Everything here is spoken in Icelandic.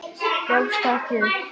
Gefstu ekki upp.